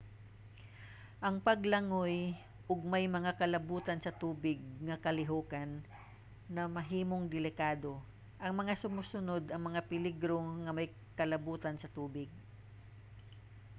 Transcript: ang paglangoy ug may mga kalabutan sa tubig nga kalihokan mamahimong delikado. ang mga sumusunod ang mga peligro nga may kalabutan sa tubig: